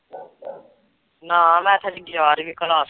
ਨਾ ਮੈ ਤੇ ਹਲੇ ਗਿਆਰਵੀ Class ਵਿੱਚ